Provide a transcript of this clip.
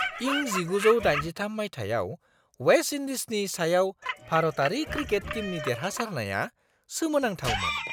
इं 1983 माइथायाव वेस्ट इन्डीजनि सायाव भारतारि क्रिकेट टीमनि देरहासारनाया सोमोनांथावमोन।